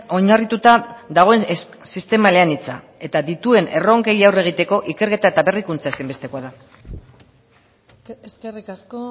oinarrituta dagoen sistema eleanitza eta dituen erronkei aurre egiteko ikerketa eta berrikuntza ezinbestekoa da eskerrik asko